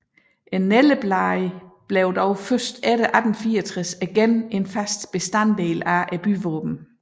Nældebladet blev dog først efter 1864 igen en fast bestanddel af byvåbnet